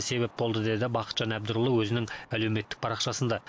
себеп болды деді бақытжан әбдірұлы өзінің әлеуметтік парақшасында